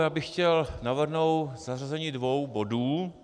Já bych chtěl navrhnout zařazení dvou bodů.